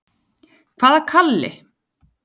Hvaða Kalli?